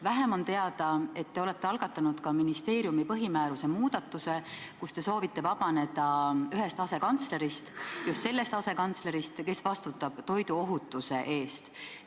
Vähem on teada, et te olete algatanud ka ministeeriumi põhimääruse muudatuse, te soovite vabaneda ühest asekantslerist, just sellest asekantslerist, kes vastutab toiduohutuse eest.